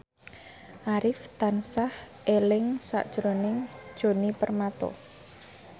Arif tansah eling sakjroning Djoni Permato